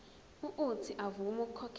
uuthi avume ukukhokhela